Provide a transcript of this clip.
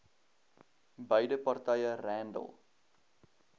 beide partye randall